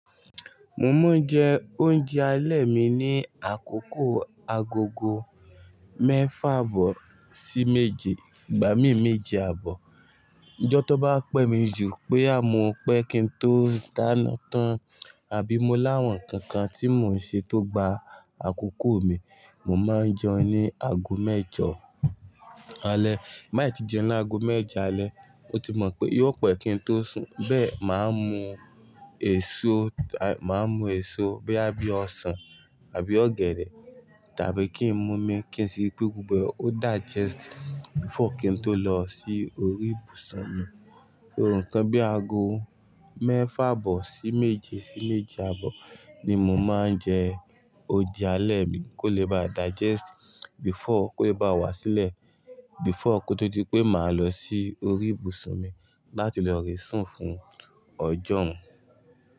Mo máa ń jẹ oúnjẹ alẹ́ mi ní àkókò agogo mẹ́fà àbọ̀ sí méje, ìgbà mí méje àbọ̀. N jọ́ tó bá pẹ́ mi jù bo ya mo pẹ́ kí n tó dáná tán àbí mo láwọn nkankan tí mò ń ṣe tó gba àkókò mi, mo máa ń jẹun ní ago mẹ́jọ alẹ́. Má ì tí jẹun ní ago mẹ́jọ alẹ́, o ti mọ̀ pé yó pẹ́ kí n tó sùn, bẹ́ẹ̀ máa mú èso, máa mú èso boya bíi ọsàn àbí ọ̀gẹ̀dẹ̀ tàbí kí n mú mi kí n sì ri pé gbogbo rẹ̀ ó digest before kí n tó lọ sí orí ìbùsùn mi. Nkan bí àgọ̀ mẹ́fà àbọ̀ sí méje sí méje àbọ̀ ni mo máa ń jẹ oúnjẹ alẹ́ mi kó lè bá digest before kó lè bá wá sílẹ̀ before kó tó di pé màá lọ sí orí ìbùsùn mi láti lọ re sùn fún ọjọ́ hun.